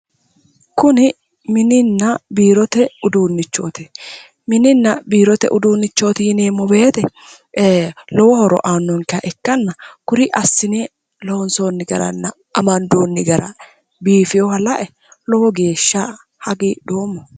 Kuni Mininna Biirote uduunnicho:-kuni mininna biirote uduunnichooti mininna biirote uduunnicho yineemmo woyite ee lowo horo uuyitannonkeha ikkinna kuri assine loonsoonni garanna amandoonni gara bifeeha la'e lowo geeshsha hagiidhoomo